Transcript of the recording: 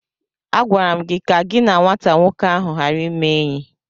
Agwara m gi ka gị na nwata nwoke ahu ghara ịme enyi!